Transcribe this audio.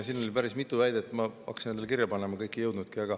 Siin oli päris mitu väidet, ma hakkasin endale kirja panema, aga kõike ei jõudnudki.